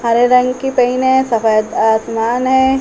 हरे रंग की पेन है। सफ़ेद आसमान है।